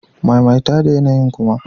Maimaita da yanayi'n kuma!